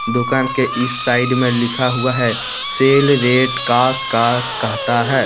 दुकान के इस साइड मे लिखा हुआ है सेल रेट कास का कहता है।